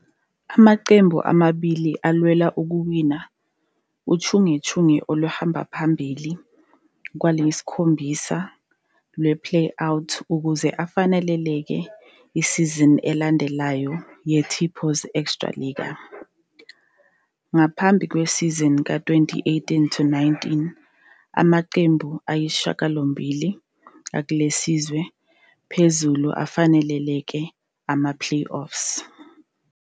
Amaqembu amabili alwela ukuwina uchungechunge oluhamba phambili kwayisikhombisa lwe -Play-Out ukuze afanelekele isizini elandelayo ye-Tipos Extraliga. Ngaphambi kwesizini ka-2018-19, amaqembu ayisishiyagalombili akleliswe phezulu afanelekele ama-playoffs.